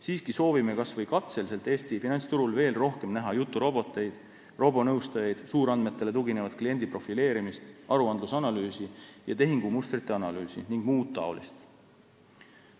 Siiski soovime kas või katseliselt Eesti finantsturul veel rohkem näha juturoboteid, robonõustajaid, suurandmetele tuginevat kliendi profileerimist, aruandluse ja tehingumustrite analüüsi jms.